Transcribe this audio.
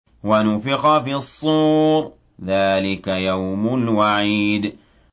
وَنُفِخَ فِي الصُّورِ ۚ ذَٰلِكَ يَوْمُ الْوَعِيدِ